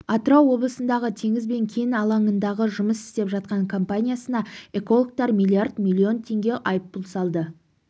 атырау облысындағы теңіз кен алаңында жұмыс істеп жатқан компаниясына экологтар миллиард миллион теңге айыппұл салды